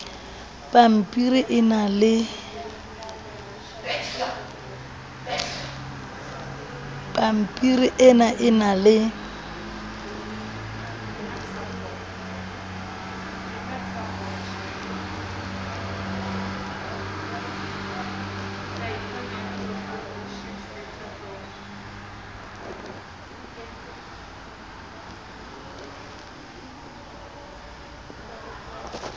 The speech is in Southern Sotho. pampiri ena e na le